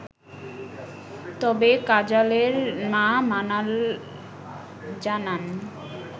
তবে কাজালের মা মানাল জানান